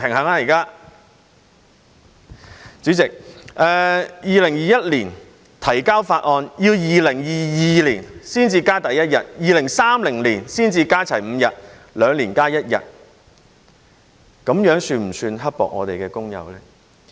代理主席，在2021年提交法案，到2022年才增加第一日，要到2030年才可加足5日，即兩年加一日，這樣是否算刻薄工友呢？